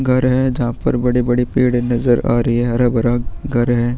घर है जहाँ पर बड़े-बड़े पेड़ नज़र आ रही है हरा-भरा घर है।